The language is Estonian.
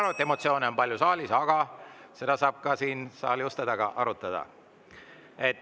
Ma saan aru, et saalis on palju emotsioone, aga nende üle saab ka siin saali uste taga arutada.